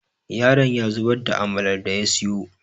yaron ya zubar da amalar da ya siyo